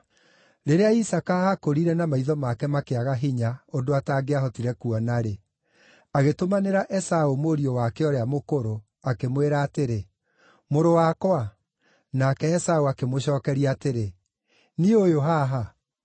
Rĩrĩa Isaaka aakũrire na maitho make makĩaga hinya ũndũ atangĩahotire kuona-rĩ, agĩtũmanĩra Esaũ mũriũ wake ũrĩa mũkũrũ, akĩmwĩra atĩrĩ, “Mũrũ wakwa.” Nake Esaũ akĩmũcookeria atĩrĩ, “Niĩ ũyũ haha.”